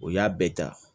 O y'a bɛɛ ta